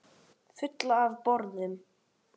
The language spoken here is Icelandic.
Fulla af boðum.